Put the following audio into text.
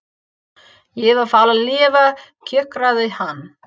Ég vil fá að lifa, kjökraði hann.